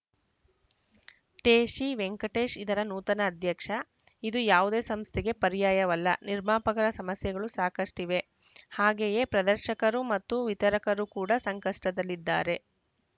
ಟೇಶಿ ವೆಂಕಟೇಶ್‌ ಇದರ ನೂತನ ಅಧ್ಯಕ್ಷ ಇದು ಯಾವುದೇ ಸಂಸ್ಥೆಗೆ ಪರ್ಯಾಯವಲ್ಲ ನಿರ್ಮಾಪಕರ ಸಮಸ್ಯೆಗಳು ಸಾಕಷ್ಟಿವೆ ಹಾಗೆಯೇ ಪ್ರದರ್ಶಕರು ಮತ್ತು ವಿತರಕರು ಕೂಡ ಸಂಕಷ್ಟದಲ್ಲಿದ್ದಾರೆ